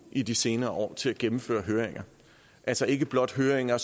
i de senere år til at gennemføre høringer altså ikke blot høringer